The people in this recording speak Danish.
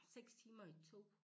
6 timer i et tog